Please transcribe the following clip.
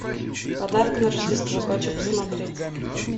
подарок на рождество хочу посмотреть